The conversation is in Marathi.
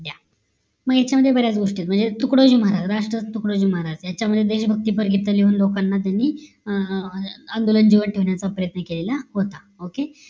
मग यांच्यामध्ये बऱ्याच गोष्टी आहेत म्हणजे तुकडोजी महाराज तुकडोजी याच्या मध्ये त्यानी देशभक्ती पर गीत लिहून लोकांना त्यांनी अह आंदोलन ठेवण्याचा प्रयत्न केलेला होता okay